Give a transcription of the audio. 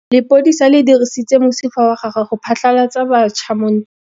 Lepodisa le dirisitse mosifa wa gagwe go phatlalatsa batšha mo ntweng.